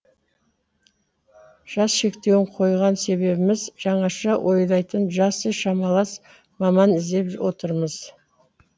жас шектеуін қойған себебіміз жаңаша ойлайтын жасы шамалас маман іздеп отырмыз